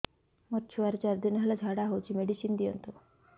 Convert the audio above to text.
ମୋର ଛୁଆର ଚାରି ଦିନ ହେଲା ଝାଡା ହଉଚି ମେଡିସିନ ଦିଅନ୍ତୁ